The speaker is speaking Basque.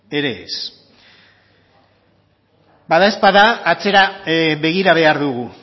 ere ez bada ezpada atzera begira behar dugu